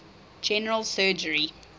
general surgery